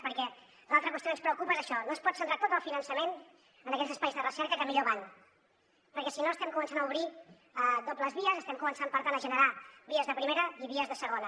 perquè l’altra qüestió que ens preocupa és això no es pot centrar tot el finançament en aquells espais de recerca que millor van perquè si no estem començant a obrir dobles vies estem començant per tant a generar vies de primera i vies de segona